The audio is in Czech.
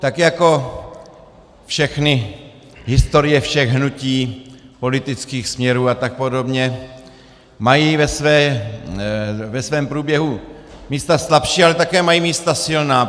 Tak jako všechny historie všech hnutí, politických směrů a tak podobně mají ve svém proběhu místa slabší, ale taky mají místa silná.